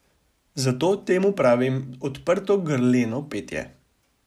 Zato temu pravim odprto grleno petje.